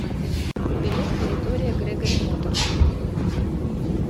билет территория грегори моторс